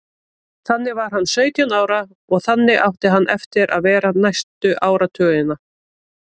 Þannig var hann sautján ára og þannig átti hann eftir að vera næstu áratugina.